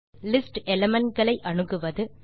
list element களை அணுகுவது